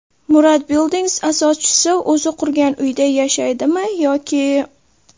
Murad Buildings asoschisi o‘zi qurgan uyda yashaydimi yoki…?.